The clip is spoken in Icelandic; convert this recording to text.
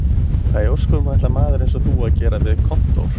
Hvað í ósköpunum ætlar maður eins og þú að gera við kontór